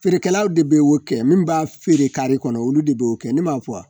Feerekɛlaw de bɛ o kɛ min b'a feere kare kɔnɔ olu de b'o kɛ ne m'a fɔ wa